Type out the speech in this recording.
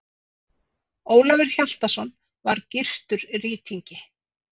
Ólafur Hjaltason var gyrtur rýtingi.